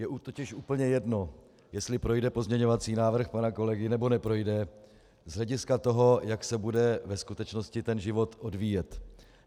Je totiž úplně jedno, jestli projde pozměňovací návrh pana kolegy, nebo neprojde, z hlediska toho, jak se bude ve skutečnosti ten život odvíjet.